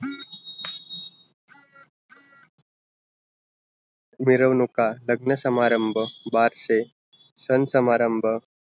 मिरवणुका, लग्न समारंभ बारसे, सन समारंभ